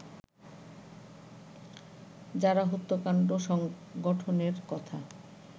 যারা হত্যাকাণ্ড সংঘটনের কথা